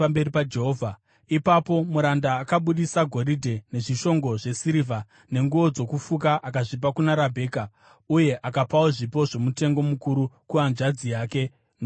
Ipapo muranda akabudisa goridhe nezvishongo zvesirivha nenguo dzokufuka akazvipa kuna Rabheka; uye akapawo zvipo zvomutengo mukuru kuhanzvadzi yake nokuna mai vake.